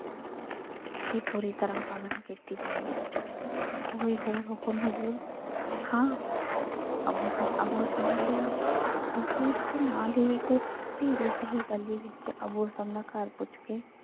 ਦੀ ਪੂਰੀ ਤਰਾਂ ਪਾਲਣਾ ਕੀਤੀ ਜਾਏਗੀ। ਕੋਈ ਹੋਰ ਹੁਕਮ ਹਜ਼ੂਰ, ਹਾਂ ਅੱਬੂ ਹਸਨ ਅੱਬੂ ਹਸਨ ਨੇ ਕਿਹਾ ਤੁਸੀਂ ਇੱਥੇ ਨਾਲ ਹੀ ਇੱਕ ਪੀੜੀ ਜਿਹੀ ਗਲੀ ਵਿੱਚ ਅੱਬੂ ਹਸਨ ਦਾ ਘਰ ਪੁੱਛ ਕੇ,